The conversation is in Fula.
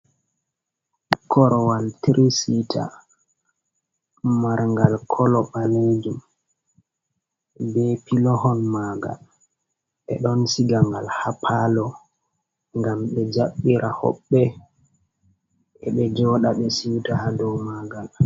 Korowal tirisita mar'gal kolo ɓalejum be pilohon magal. Ɓe ɗon siga ngal ha palo ngam ɓe jaɓɓira hoɓɓe e'ɓe joɗa ɓe siuta ha dow magal.